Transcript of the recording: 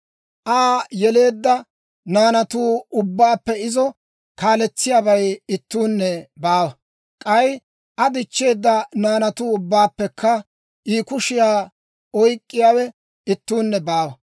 Aa yeleedda naanatu ubbaappe izo kaaletsiyaabay ittuunne baawa; k'ay Aa dichcheedda naanatu ubbaappekka I kushiyaa oyk'k'iyaawe ittuunne baawa.